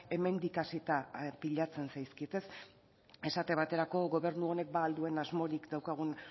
hemendik hasita pilatzen zaizkit esate baterako gobernu honek ba al duen asmorik daukagun